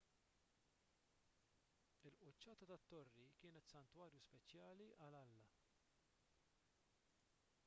il-quċċata tat-torri kienet santwarju speċjali għall-alla